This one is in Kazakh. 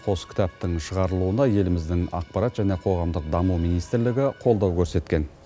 қос кітаптың шығарылуына еліміздің ақпарат және қоғамдық даму министрлігі қолдау көрсеткен